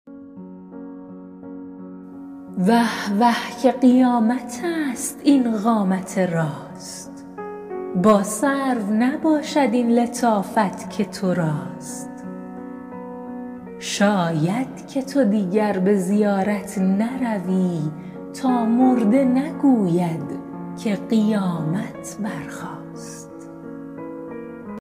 وه وه که قیامت ست این قامت راست با سرو نباشد این لطافت که تو راست شاید که تو دیگر به زیارت نروی تا مرده نگوید که قیامت برخاست